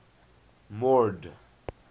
mord